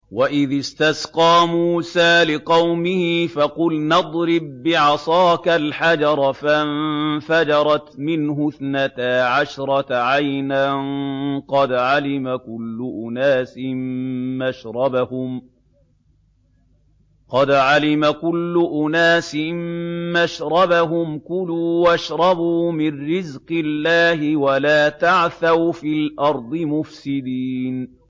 ۞ وَإِذِ اسْتَسْقَىٰ مُوسَىٰ لِقَوْمِهِ فَقُلْنَا اضْرِب بِّعَصَاكَ الْحَجَرَ ۖ فَانفَجَرَتْ مِنْهُ اثْنَتَا عَشْرَةَ عَيْنًا ۖ قَدْ عَلِمَ كُلُّ أُنَاسٍ مَّشْرَبَهُمْ ۖ كُلُوا وَاشْرَبُوا مِن رِّزْقِ اللَّهِ وَلَا تَعْثَوْا فِي الْأَرْضِ مُفْسِدِينَ